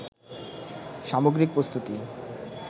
সামগ্রিক প্রস্তুতি